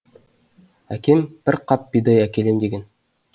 әкем бір қап бидай әкелем деген